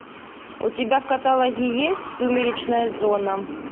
у тебя в каталоге есть сумеречная зона